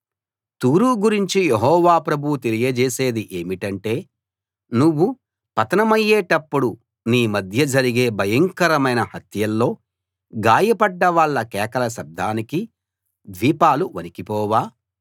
తూరు గురించి యెహోవా ప్రభువు తెలియజేసేది ఏమిటంటే నువ్వు పతనమయ్యేటప్పుడు నీ మధ్య జరిగే భయంకరమైన హత్యల్లో గాయపడ్డ వాళ్ళ కేకల శబ్దానికి ద్వీపాలు వణికిపోవా